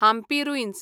Hampi ruins